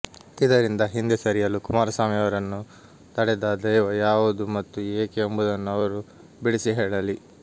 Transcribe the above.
ಇದರಿಂದ ಹಿಂದೆ ಸರಿಯಲು ಕುಮಾರಸ್ವಾಮಿ ಅವರನ್ನು ತಡೆದ ದೈವ ಯಾವುದು ಮತ್ತು ಏಕೆ ಎಂಬುದನ್ನು ಅವರು ಬಿಡಿಸಿ ಹೇಳಲಿ